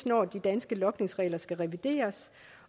når de danske logningsregler skal revideres